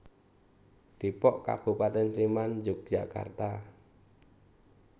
Dépok Kabupatén Sléman Yogyakarta